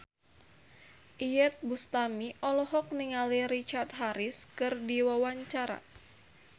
Iyeth Bustami olohok ningali Richard Harris keur diwawancara